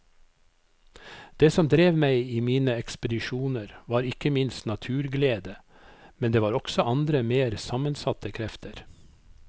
Det som drev meg i mine ekspedisjoner var ikke minst naturglede, men det var også andre mer sammensatte krefter.